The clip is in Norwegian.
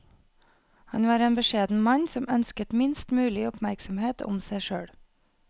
Han var en beskjeden mann som ønsket minst mulig oppmerksomhet om seg selv.